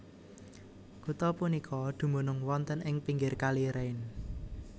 Kutha punika dumunung wonten ing pinggir Kali Rhein